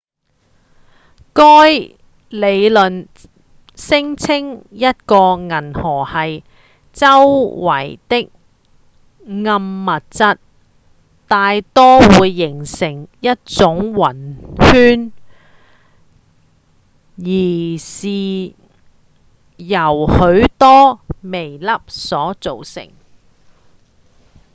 該理論聲稱一個銀河系周圍的暗物質大多會形成一種暈圈且是由許多微粒所組成